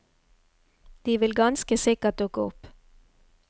De vil ganske sikkert dukke opp.